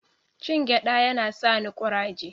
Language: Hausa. Cin gyaɗa yana sani kuraje.